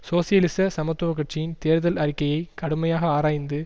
சோசியலிச சமத்துவ கட்சியின் தேர்தல் அறிக்கையை கடுமையாக ஆராய்ந்து